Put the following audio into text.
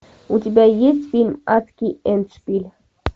у тебя есть фильм адский эндшпиль